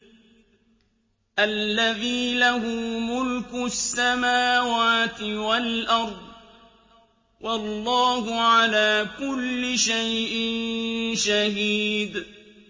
الَّذِي لَهُ مُلْكُ السَّمَاوَاتِ وَالْأَرْضِ ۚ وَاللَّهُ عَلَىٰ كُلِّ شَيْءٍ شَهِيدٌ